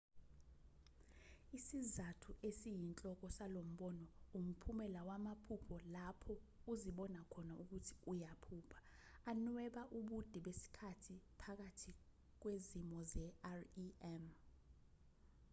isizathu esiyinhloko salombono umphumela wamaphupho lapho uzibona khona ukuthi uyaphupha anweba ubude besikhathi phakathi kwezimo ze-rem